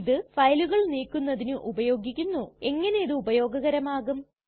ഇത് ഫയലുകൾ നീക്കുന്നതിന് ഉപയോഗിക്കുന്നുഎങ്ങനിതു ഉപയോഗകരമാകും